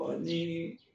Ɔ ni